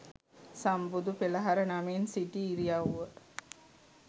සම්බුදු පෙළහර නමින් සිටි ඉරියව්ව